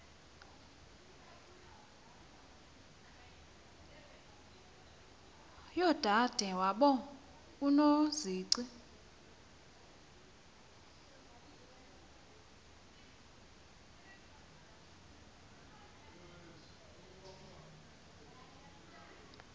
yodade wabo unozici